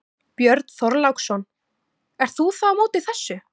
Björn Þorláksson: Ert þú þá á móti þessu?